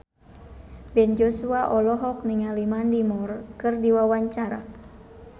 Ben Joshua olohok ningali Mandy Moore keur diwawancara